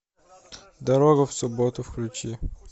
дорога в субботу включи